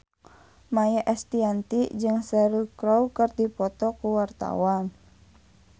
Maia Estianty jeung Cheryl Crow keur dipoto ku wartawan